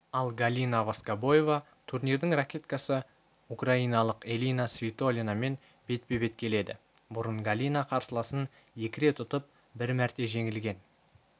ал галина воскобоева турнирдің ракеткасы украиналық элина свитолинамен бетпе-бет келеді бұрын галина қарсыласын екі рет ұтып бір мәрте жеңілген